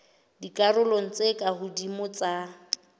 dikarolong tse ka hodimo tsa